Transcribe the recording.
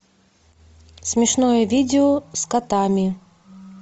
смешное видео с котами